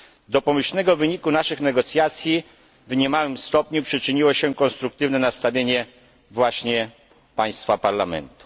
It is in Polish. Do pomyślnego wyniku naszych negocjacji w niemałym stopniu przyczyniło się konstruktywne nastawienie właśnie Państwa, Parlamentu.